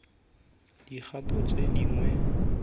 dikgato tse dingwe tsa tshiamiso